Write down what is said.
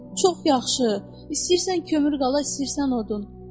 Çox yaxşı, istəyirsən kömür qala, istəyirsən odun.